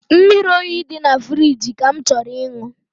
Mmiri oyi dị na firigi ka m chọrọ ịṅụ